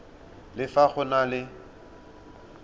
le fa go na le